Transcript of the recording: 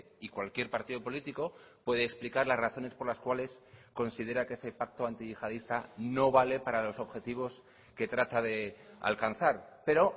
y cualquier partido político puede explicar las razones por las cuales considera que ese pacto antiyihadista no vale para los objetivos que trata de alcanzar pero